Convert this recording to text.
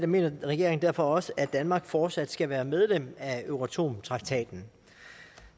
mener regeringen derfor også at danmark fortsat skal være medlem af euratom traktaten